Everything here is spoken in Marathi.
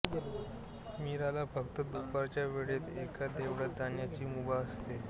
मीराला फक्त दुपारच्या वेळेत एका देवळात जाण्याची मुभा असते